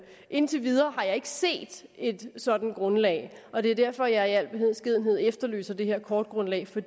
indtil videre har jeg ikke set et sådant grundlag og det er derfor jeg i al beskedenhed efterlyser det her kortgrundlag for